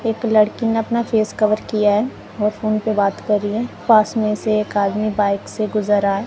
एक लड़की ने अपना फेस कवर किया है और फोन पे बात कर रही है पास में से एक आदमी बाइक से गुजर रहा है।